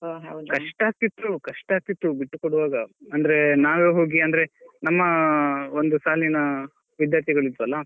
ಕಷ್ಟಾಗ್ತಿತ್ತು ಕಷ್ಟಾಗ್ತಿತ್ತು ಬಿಟ್ಟುಕೊಡುವಾಗ ಅಂದ್ರೆ ನಾವೇ ಹೋಗಿ ಅಂದ್ರೆ ನಮ್ಮ ಒಂದು ಸಾಲಿನ ವಿಧ್ಯಾರ್ಥಿಗಳಿದ್ವಲ್ವಾ.